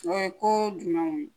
O ye ko jumɛnw